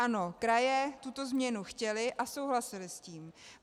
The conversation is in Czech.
Ano, kraje tuto změnu chtěly a souhlasily s tím.